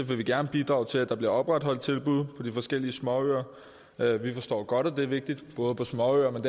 vil vi gerne bidrage til at der bliver opretholdt tilbud på de forskellige småøer vi forstår godt at det er vigtigt både på småøer men